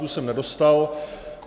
Tu jsem nedostal.